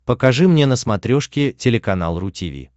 покажи мне на смотрешке телеканал ру ти ви